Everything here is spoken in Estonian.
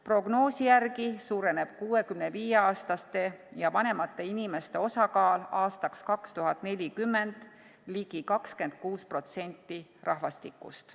Prognoosi järgi suureneb 65-aastaste ja vanemate inimeste osakaal aastaks 2040 ligi 26%-ni rahvastikust.